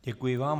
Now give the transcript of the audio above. Děkuji vám.